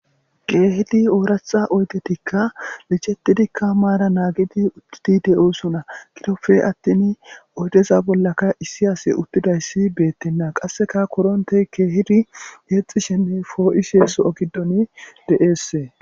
Kehidi oraththa oyidettikka miccetidikka mara nagid uttidi de'osona.giddoppe attin oyidezan bolla issi asi uttidayiss betena.qasekka koronteyi kehidi yexishshe nne po'ishshe de'ees.